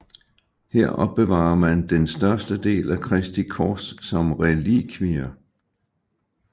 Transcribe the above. Her opbevarer man den største del af Kristi kors som relikvie